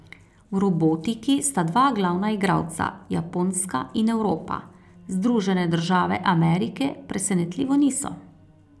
V robotiki sta dva glavna igralca Japonska in Evropa, Združene države Amerike presenetljivo niso.